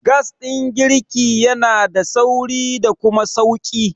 Gas ɗin girki yanada sauri da kuma sauƙi.